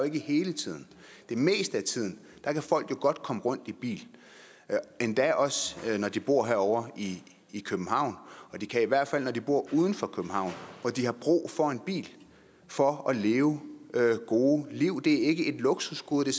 ikke hele tiden det meste af tiden kan folk jo godt komme rundt i bil endda også når de bor herovre i københavn og de kan i hvert fald når de bor uden for københavn hvor de har brug for en bil for at leve gode liv det er ikke et luksusgode det